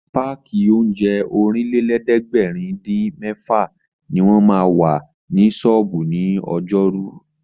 Páàkì oúnjẹ Ọ̀rìnlélẹ̀ẹ́dẹ́gbèrin-dín-mẹ́fà ní wọ́n ma wà ní ṣọ́ọ̀bú ní ọjọ́rú